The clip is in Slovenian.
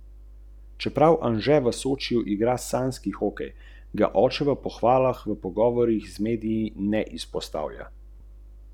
Že pred desetimi leti smo videli, da prihaja digitalna revolucija.